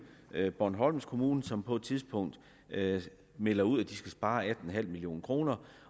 bornholms kommune som på et tidspunkt melder ud at de skal spare atten million kr